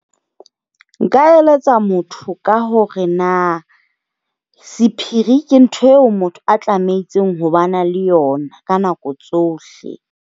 Nka eletsa motho ka hore na sephiri ke ntho eo motho a tlamehileng hore ba na le yona ka nako tsohle.